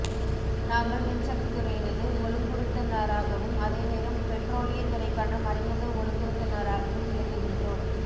நாங்கள் மின்சக்தித் துறையினது ஒழுங்குறுத்துநராகவும் அதே நேரம் பெற்றோலியத் துறைக்கான மறைமுக ஒழங்குறுத்துநராகவும் விளங்குகின்றோம்